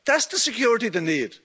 That's the security they need.